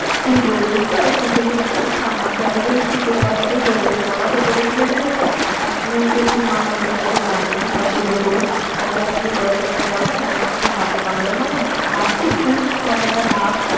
তুই বলছিস তো কিছুদিন আগে না আমাকে একজন ঠিক এই কথাটাই বলেছে। আমাকে বলেছিল যে আপনি যদি মা মনসা কে মানেন বা পূজা করুন তাহলে আপনি দশজনকে পাঠান না হলে আপনাকে সাপে কামড়াবে। মানে ভাবছিস তুই? কথাটা ভাব।